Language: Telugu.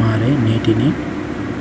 మారే నీటిని